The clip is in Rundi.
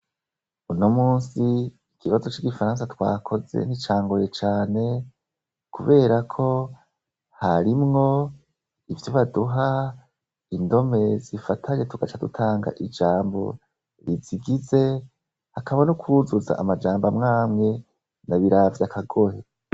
Uno musi ikibazo c'igifaransa twakoze n'icangoye cane, kubera ko harimwo ivyo baduha indome zifatanye tugaca dutanga ijambo rizigize hakaba n' ukwuzuza amajambo amwamwe na biravye akagohe.